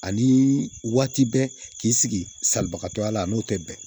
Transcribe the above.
Ani waati bɛɛ k'i sigi salibagatɔya la n'o tɛ bɛn